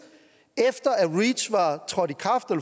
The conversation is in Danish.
efter at reach var trådt